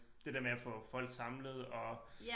Det der med at få folk samlet og